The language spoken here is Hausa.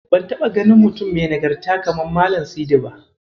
Ban taɓa ganin mutum mai nagarta kamar Malam Sidi ba.